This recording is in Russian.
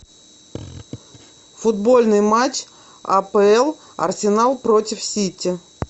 футбольный матч апл арсенал против сити